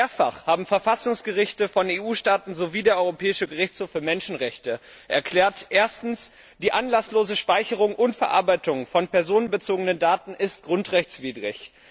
Mehrfach haben Verfassungsgerichte von EU Mitgliedstaaten sowie der Europäische Gerichtshof für Menschenrechte erklärt Erstens, die anlasslose Speicherung und Verarbeitung von personenbezogenen Daten ist grundrechtswidrig.